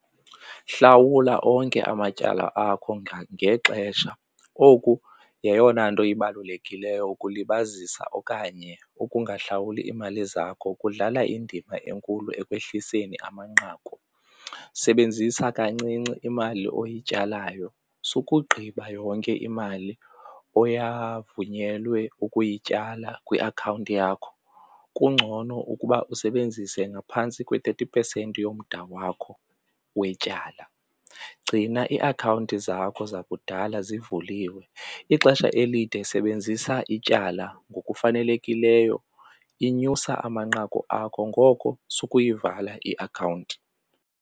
Hlawula onke amatyala akho ngexesha. Oku yeyona nto ibalulekileyo ukulibazisa okanye ukungahlawuli iimali zakho kudlala indima enkulu ekwehliseni amanqaku. Sebenzisa kancinci imali oyityalayo, sukugqiba yonke imali oyavunyelwe ukuyityala kwiakhawunti yakho kungcono ukuba usebenzise ngaphantsi kwe-thirty percent yomda wakho wetyala. Gcina iiakhawunti zakho zakudala zivuliwe, ixesha elide sebenzisa ityala ngokufanelekileyo linyusa amanqaku akho ngoko sukuyivala iakhawunti.